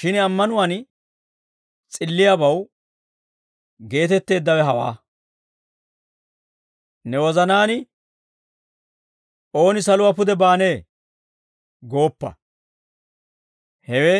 shin ammanuwaan s'illiyaabaw geetetteeddawe hawaa; «Ne wozanaan, ‹Ooni saluwaa pude baanee?› gooppa. Hewe